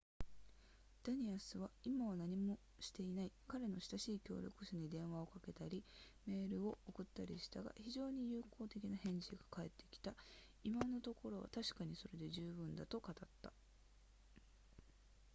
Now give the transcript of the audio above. ダニアスは「今は何もしていない彼の親しい協力者に電話をかけたり、メールを送ったりしたが、非常に友好的な返事が返ってきた今のところは、確かにそれで十分だ」と語った